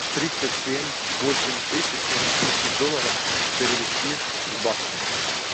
тридцать семь восемь тысяч сингапурских долларов перевести в баксы